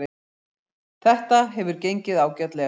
Þetta hefur gengið ágætlega